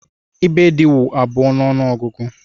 Ibèdí wụ abụọ n'ogugu.